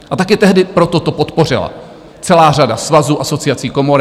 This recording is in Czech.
A taky tehdy proto to podpořila celá řada svazů, asociací, komor.